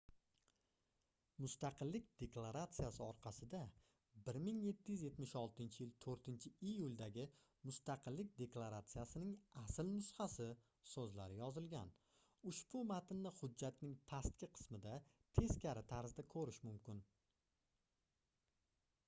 mustaqillik deklaratsiyasi orqasida 1776-yil 4-iyuldagi mustaqillik deklaratsiyasining asl nusxasi soʻzlari yozilgan ushbu matnni hujjatning pastki qismida teskari tarzda koʻrish mumkin